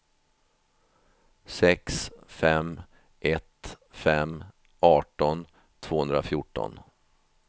sex fem ett fem arton tvåhundrafjorton